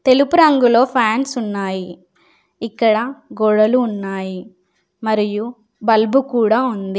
తెలుపు రంగులో ఫ్యాన్స్ ఉన్నాయి. ఇక్కడ గోడలు ఉన్నాయి. మరియు బల్బు కూడా ఉంది.